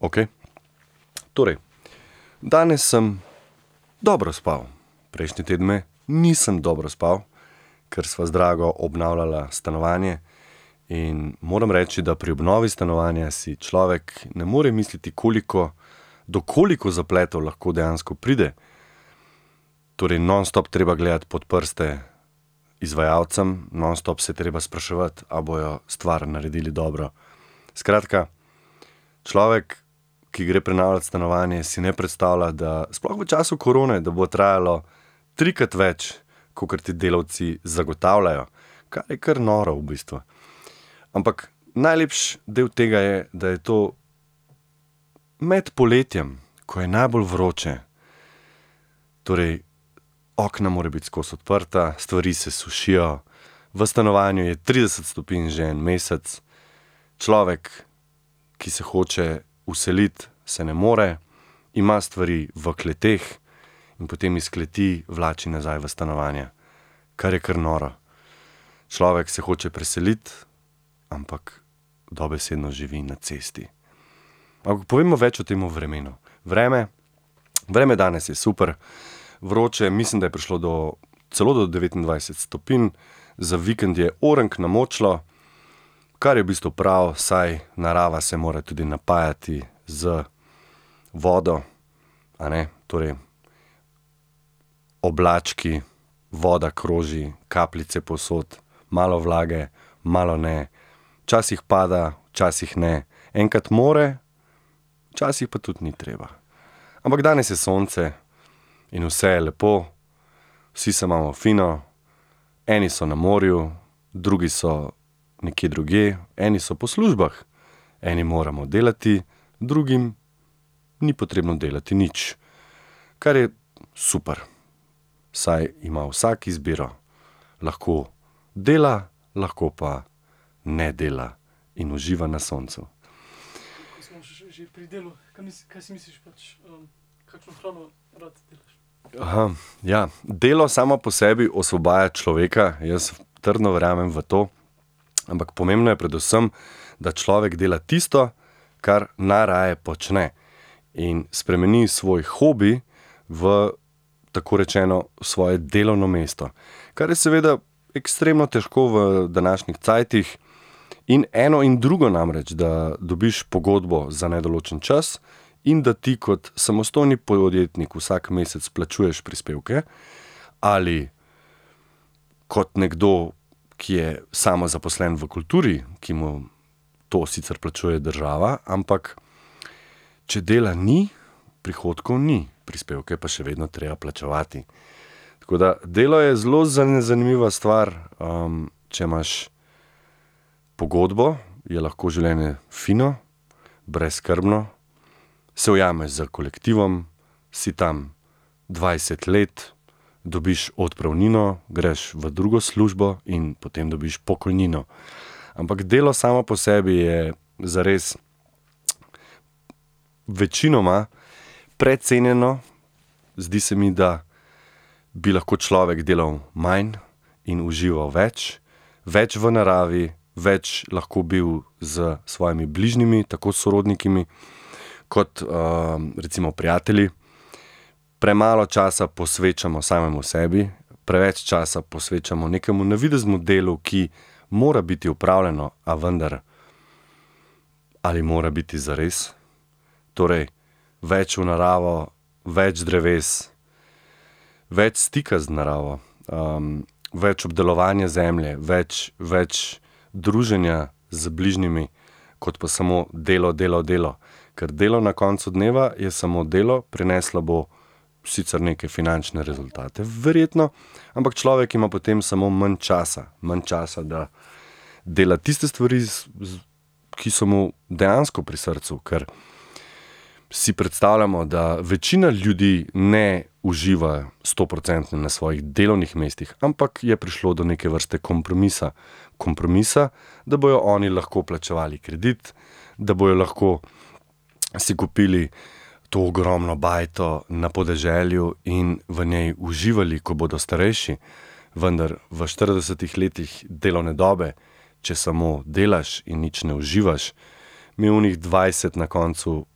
Okej. Torej. Danes sem dobro spal. Prejšnje tedne nisem dobro spal, ker sva z drago obnavljala stanovanje in moram reči, da pri obnovi stanovanja si človek ne more misliti, koliko, do koliko zapletov lahko dejansko pride. Torej nonstop treba gledati pod prste izvajalcem, nonstop se je treba spraševati, a bojo stvar naredili dobro. Skratka, človek, ki gre prenavljati stanovanje, si ne predstavlja, da, sploh v času korone, da bo trajalo trikrat več, kakor ti delavci zagotavljajo. Kar je kar noro v bistvu. Ampak najlepši del tega je, da je to med poletjem, ko je najbolj vroče. Torej okna morajo biti skoti odprta, stvari se sušijo, v stanovanju je trideset stopinj že en mesec, človek, ki se hoče vseliti, se ne more, ima stvari v kleteh in potem iz kleti vlači nazaj v stanovanje. Kar je kar noro. Človek se hoče preseliti, ampak dobesedno živi na cesti. Pa povejmo več o tem vremenu. Vreme, vreme danes je super. Vroče je, mislim, da je prišlo do, celo do devetindvajset stopinj. Za vikend je orenk namočilo, kar je v bistvu prav, saj narava se mora tudi napajati z vodo, a ne. Torej oblački, voda kroži, kapljice povsod, malo vlage, malo ne. Včasih pada, včasih ne. Enkrat mora, včasih pa tudi ni treba. Ampak danes je sonce in vse je lepo. Vsi se imamo fino. Eni so na morju, drugi so nekje drugje, eni so po službah. Eni moramo delati, drugim ni potrebno delati nič. Kar je super, saj ima vsak izbiro. Lahko dela, lahko pa ne dela in uživa na soncu. Ja, delo samo po sebi osvobaja človeka. Jaz trdno verjamem v to. Ampak pomembno je predvsem, da človek dela tisto, kar najraje počne, in spremeni svoj hobi v tako rečeno, svoje delovno mesto. Kar je seveda ekstremno težko v današnjih cajtih, in eno in drugo, namreč da dobiš pogodbo za nedoločen čas in da ti kot samostojni podjetnik vsak mesec plačuješ prispevke ali kot nekdo, ki je samozaposlen v kulturi, ki mu to sicer plačuje država, ampak če dela ni, prihodkov ni, prispevke je pa še vedno treba plačevati. Tako da delo je zelo zanimiva stvar. če imaš pogodbo, je lahko življenje fino, brezskrbno, se ujameš s kolektivom, si tam dvajset let, dobiš odpravnino, greš v drugo službo in potem dobiš pokojnino. Ampak delo samo po sebi je zares večinoma precenjeno. Zdi se mi, da bi lahko človek delal manj in užival več. Več v naravi, več lahko bil s svojimi bližnjimi, tako s sorodniki kot, recimo prijatelji. Premalo časa posvečamo samemu sebi, preveč časa posvečamo nekemu navideznemu delu, ki mora biti opravljeno, a vendar ali mora biti zares? Torej več v naravo, več dreves, več stika z naravo. več obdelovanja zemlje, več, več druženja z bližnjimi, kot pa samo delo, delo, delo. Ker delo na koncu dneva je samo delo. Prineslo bo sicr neke finančne rezultate verjetno, ampak človek ima potem samo manj časa. Manj časa, da dela tiste stvari, ki so mu dejansko pri srcu. Ker si predstavljamo, da večina ljudi ne uživa stoprocentno na svojih delovnih mestih, ampak je prišlo do neke vrste kompromisa. Kompromisa, da bojo oni lahko plačevali kredit, da bojo lahko si kupili to ogromno bajto na podeželju in v njej uživali, ko bodo starejši. Vendar v štiridesetih letih delovne dobe, če samo delaš in nič ne uživaš, mi onih dvajset na koncu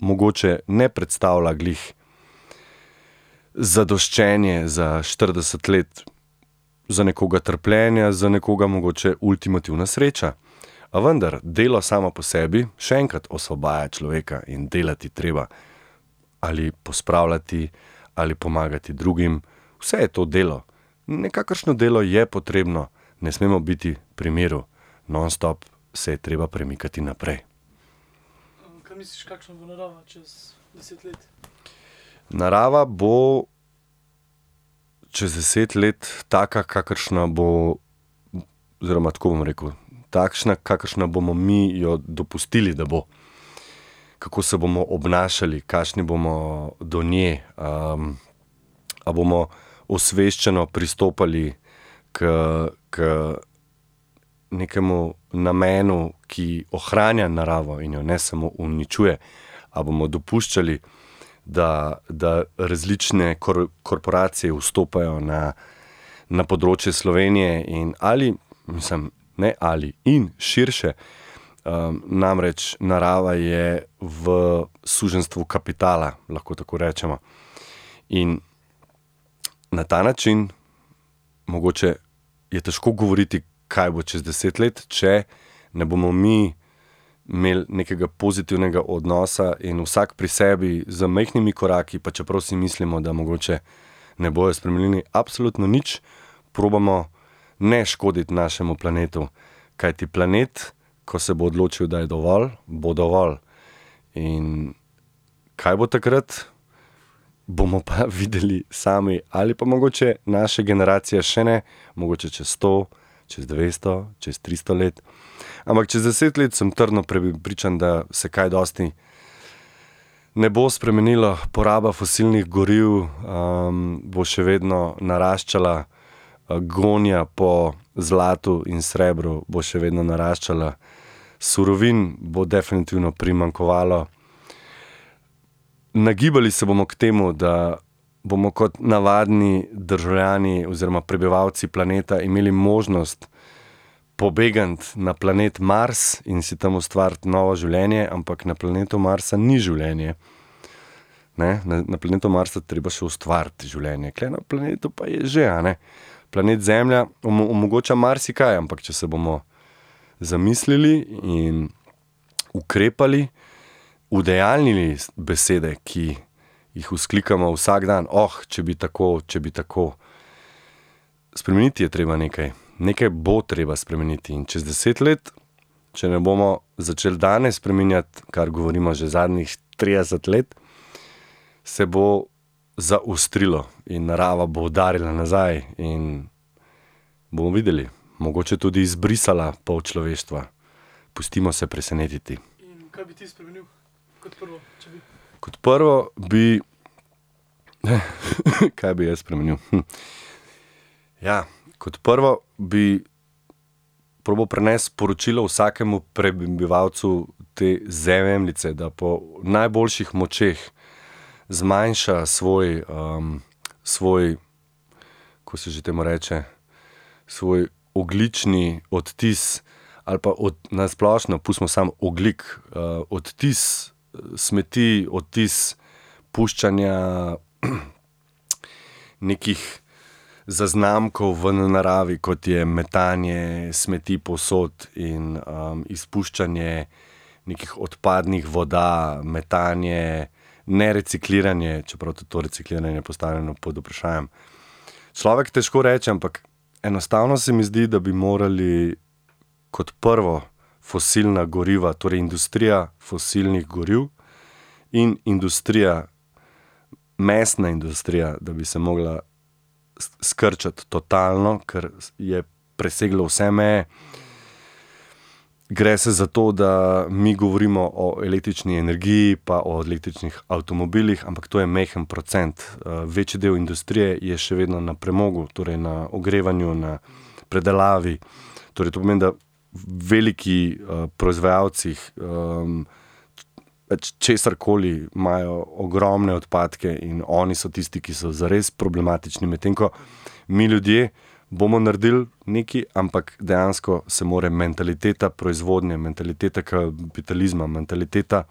mogoče ne predstavlja glih zadoščenje za štirideset let za nekoga trpljenja, za nekoga mogoče ultimativna sreča. A vendar, delo samo po sebi, še enkrat, osvobaja človeka in delati je treba. Ali pospravljati ali pomagati drugim, vse je to delo. Nekakršno delo je potrebno, ne smemo biti pri miru, nonstop se je treba premikati naprej. Narava bo čez deset let taka, kakršna bo ... Oziroma tako bom rekel, takšna, kakršna bomo mi jo dopustili, da bo. Kako se bomo obnašali, kakšni bomo do nje. a bomo osveščeno pristopali k, k nekemu namenu, ki ohranja naravo in jo ne samo uničuje, a bomo dopuščali, da, da različne korporacije vstopajo na, na področje Slovenije, in ali, mislim, ne, ali, in širše. namreč narava je v suženjstvu kapitala, lahko tako rečemo. In na ta način mogoče je težko govoriti, kaj bo čez deset let, če ne bomo mi imeli nekega pozitivnega odnosa in vsak pri sebi z majhnimi koraki, pa čeprav si mislimo, da mogoče ne bojo spremenili absolutno nič, probamo ne škoditi našemu planetu. Kajti planet, ko se bo odločil, da je dovolj, bo dovolj. In kaj bo takrat, bomo pa videli sami. Ali pa mogoče naša generacija še ne, mogoče čez sto, čez dvesto, čez tristo let. Ampak čez deset le, sem trdno prepričan, da se kaj dosti ne bo spremenilo. Poraba fosilnih goriv, bo še vedno naraščala, gonja po zlatu in srebru bo še vedno naraščala, surovin bo definitivno primanjkovalo. Nagibali se bomo k temu, da bomo kot navadni državljani oziroma prebivalci planeta imeli možnost pobegniti na planet Mars in si tam ustvariti novo življenje, ampak na planetu Mars ni življenja, ne, na planetu Mars je treba še ustvariti življenje. Tule na planetu pa je že, a ne. Planet Zemlja omogoča marsikaj, ampak če se bomo zamislili in ukrepali, udejanjili besede, ki jih vzklikamo vsak dan, če bi tako, če bi tako. Spremeniti je treba nekaj. Nekaj bo treba spremeniti. In čez deset let, če ne bomo začeli danes spreminjati, kar govorimo že zadnjih trideset let, se bo zaostrilo in narava bo udarila nazaj in bomo videli, mogoče tudi izbrisala pol človeštva. Pustimo se presenetiti. Kot prvo bi, kaj bi jaz spremenil, Ja. Kot prvo bi probali prenesti sporočilo vsakemu prebivalcu te Zemljice, da po najboljših močeh zmanjša svoj, svoj, ko se že temu reče, svoj ogljični odtis ali pa na splošno, pustimo samo ogljik, odtis smeti, odtis puščanja nekih zaznamkov v naravi, kot je metanje smeti povsod in, izpuščanje nekih odpadnih voda, metanje, nerecikliranje, čeprav tudi to recikliranje je postavljeno pod vprašajem. Človek težko reče, ampak enostavno se mi zdi, da bi morali kot prvo fosilna goriva, torej industrija fosilnih goriv in industrija, mesna industrija, da bi se mogla skrčiti totalno, kar je preseglo vse meje. Gre se za to, da mi govorimo o električni energiji pa o električnih avtomobilih, ampak to je majhen procent. večji del industrije je še vedno na premogu, torej na ogrevanju, na predelavi. Torej to pomeni, da veliki, proizvajalci, česarkoli imajo ogromne odpadke in oni so tisti, ki so zares problematični. Medtem ko mi, ljudje, bomo naredili nekaj, ampak dejansko se mora mentaliteta proizvodnje, mentaliteta kapitalizma, mentaliteta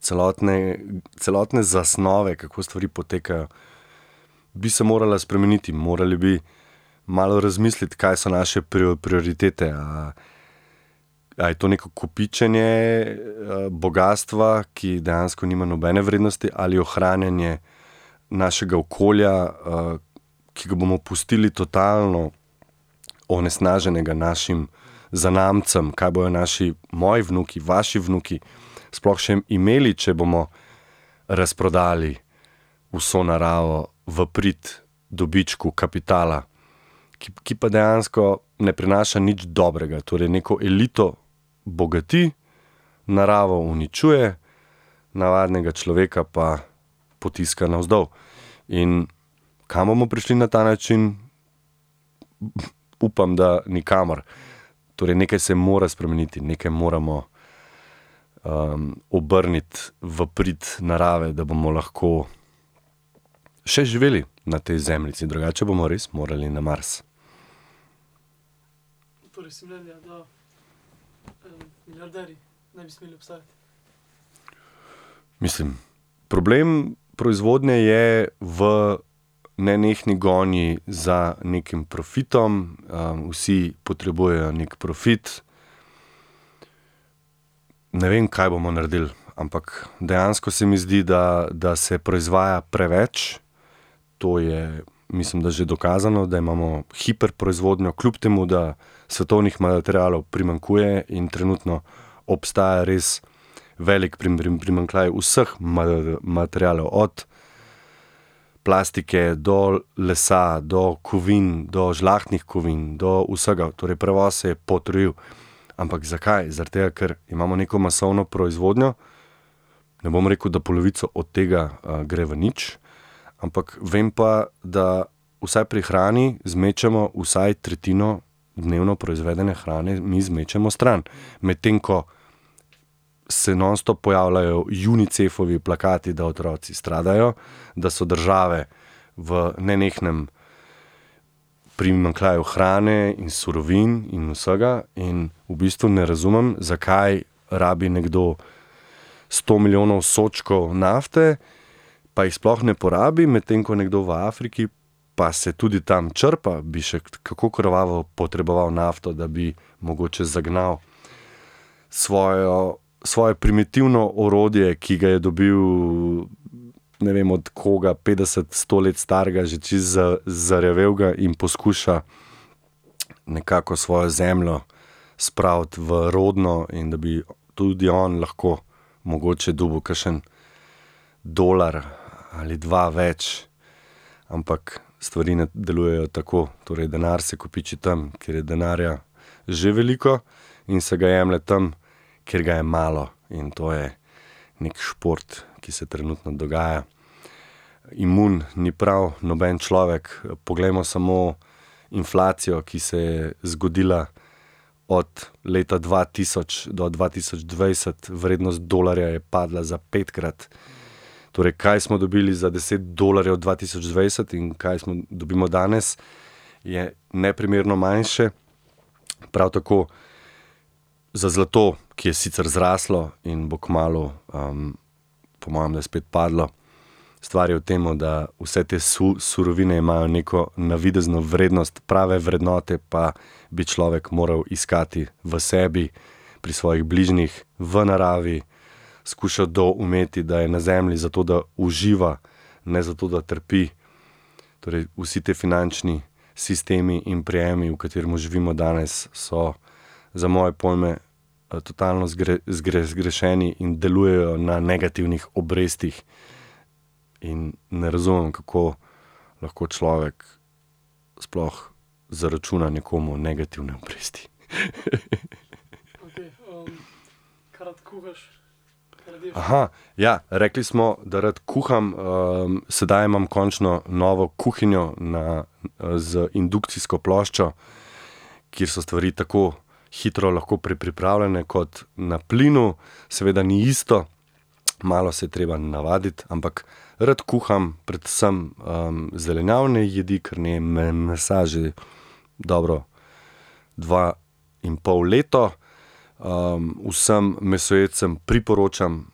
celotne, celotne zasnove, kako stvari potekajo, bi se morala spremeniti. Morali bi malo razmisliti, kaj so naše prioritete. a je to neko kopičenje, bogastva, ki dejansko nima nobene vrednosti, ali ohranjanje našega okolja, ki ga bomo pustili totalno onesnaženega našim zanamcem. Kaj bojo naši, moji vnuki, vaši vnuki sploh še imeli, če bomo razprodali vso naravo v prid dobičku kapitala, ki ki pa dejansko ne prinaša nič dobrega, torej neko elito bogati, naravo uničuje, navadnega človeka pa potiska navzdol. In kam bomo prišli na ta način? Upam, da nikamor. Torej nekaj se mora spremeniti, nekaj moramo, obrniti v prid narave, da bomo lahko še živeli ne tej Zemljici, drugače bomo res morali na Mars. Mislim, problem proizvodnje je v nenehni gonji za nekim profitom, vsi potrebujejo neki profit. Ne vem, kaj bomo naredili, ampak dejansko se mi zdi, da, da se proizvaja preveč. To je mislim, da že dokazano, da imamo hiperproizvodnjo, kljub temu da svetovnih materialov primanjkuje in trenutno obstaja res velik primanjkljaj vseh materialov, od plastike do lesa, do kovin, do žlahtnih kovin, do vsega, torej prevoz se je potrojil. Ampak zakaj? Zaradi tega, ker imamo neko masovno proizvodnjo, ne bom rekel, da polovico od tega, gre v nič, ampak vem pa, da vsaj pri hrani zmečemo vsaj tretjino dnevno proizvedene hrane mi zmečemo stran. Medtem ko se nonstop pojavljajo Unicefovi plakati, da otroci stradajo, da so države v nenehnem primanjkljaju hrane in surovin in vsega. In v bistvu ne razumem, zakaj rabi nekdo sto milijonov sodčkov nafte, pa jih sploh ne porabi, medtem ko nekdo v Afriki, pa se tudi tam črpa, bi še kako krvavo potreboval nafto, da bi mogoče zagnal svojo, svoje primitivno orodje, ki ga je dobil ne vem od koga, petdeset, sto let starega, že čisto zarjavelega, in poskuša nekako svojo zemljo spraviti v rodno in da bi tudi on lahko mogoče dobil kakšen dolar ali dva več. Ampak stvari ne delujejo tako, torej denar se kopiči tam, kjer je denarja že veliko, in se ga jemlje tam, kjer ga je malo. In to je neki šport, ki se trenutno dogaja. Imun ni prav noben človek. Poglejmo samo inflacijo, ki se je zgodila od leta dva tisoč do dva tisoč dvajset, vrednost dolarja je padla za petkrat. Torej kaj smo dobili za deset dolarjev dva tisoč dvajset in kaj dobimo danes, je neprimerno manjše. Prav tako za zlato, ki je sicer zraslo in bo kmalu, po mojem, da spet padlo. Stvar je v temu, da vse te surovine imajo neko navidezno vrednost, prave vrednote pa bi človek moral iskati v sebi, pri svojih bližnjih, v naravi, skušal doumeti, da je na Zemlji zato, da uživa, ne zato, da trpi. Torej vsi ti finančni sistemi in prijemi, v katerih živimo danes, so za moje pojme totalno zgrešeni in delujejo na negativnih obrestih. In ne razumem, kako lahko človek sploh zaračuna nekomu negativne obresti. Ja, rekli smo, da rad kuham. sedaj imam končno novo kuhinjo na, z indukcijsko ploščo, kjer so stvari tako hitro lahko pripravljene kot na plinu. Seveda ni isto, malo se je treba navaditi, ampak ... Rad kuham, predvsem, zelenjavne jedi, ker ne jem mesa že dobro dva in pol leto. vsem mesojedcem priporočam,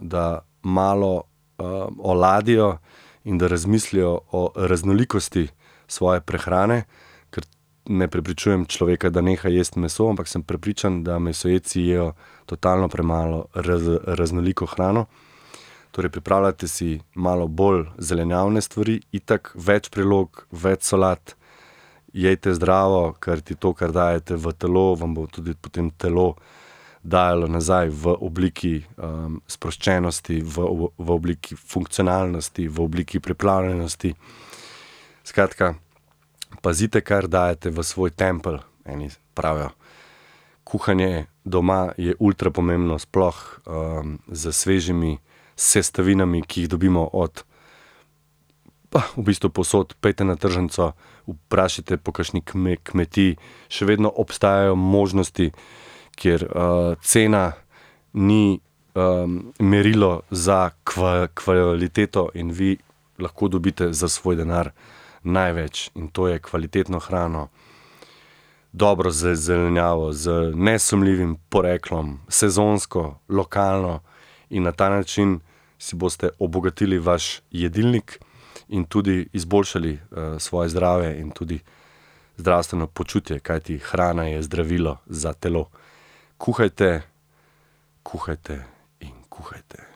da malo, oladijo in da razmislijo o raznolikosti svoje prehrane, ker ... Ne prepričujem človeka, da neha jesti meso, ampak sem prepričan, da mesojedci jejo totalno premalo raznoliko hrano. Torej pripravljajte si malo bolj zelenjavne stvari, itak več prilog, več solat, jejte zdravo, kajti to, kar dajete v telo, vam bo tudi potem telo dajalo nazaj v obliki, sproščenosti, v v obliki funkcionalnosti, v obliki pripravljenosti. Skratka, pazite, kar dajete v svoj tempelj, eni pravijo. Kuhanje doma je ultrapomembno, sploh, s svežimi sestavinami, ki jih dobimo od pa v bistvu povsod. Pojdite na tržnico, vprašajte po kakšni kmetiji. Še vedno obstajajo možnosti, kjer, cena ni, merilo za kvaliteto, in vi lahko dobite za svoj denar največ. In to je kvalitetno hrano, dobro zelenjavo z nesumljivim poreklom, sezonsko, lokalno. In na ta način si boste obogatili vaš jedilnik in tudi izboljšali, svoje zdravje in tudi zdravstveno počutje, kajti hrana je zdravilo za telo. Kuhajte, kuhajte in kuhajte.